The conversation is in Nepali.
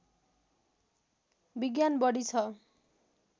विज्ञान बढी ६